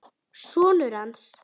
Sonur hans!